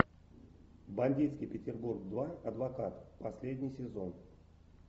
бандитский петербург два адвокат последний сезон